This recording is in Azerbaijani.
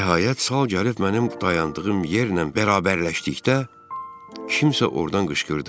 Nəhayət sal gəlib mənim dayandığım yerlə bərabərləşdikdə kimsə ordan qışqırdı.